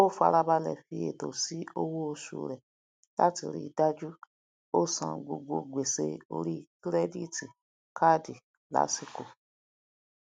o farabalẹ fí ètò sí owó oṣù rẹ láti rí dájú o san gbogbo gbèsè orí kírẹdítì kaadi lásìkò